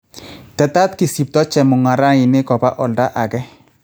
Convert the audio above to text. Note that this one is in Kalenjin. Tetat kisipto chemung'arainik kopa olda age